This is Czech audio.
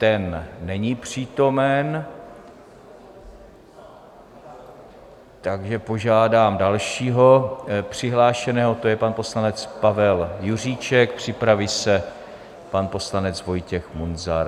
Ten není přítomen, takže požádám dalšího přihlášeného, to je pan poslanec Pavel Juříček, připraví se pan poslanec Vojtěch Munzar.